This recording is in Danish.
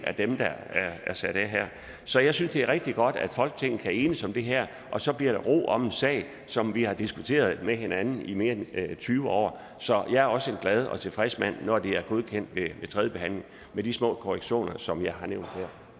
her så jeg synes det er rigtig godt at folketinget kan enes om det her og så bliver der ro om en sag som vi har diskuteret med hinanden i mere end tyve år så jeg er også en glad og tilfreds mand når det er blevet godkendt ved tredjebehandlingen med de små korrektioner som jeg har nævnt her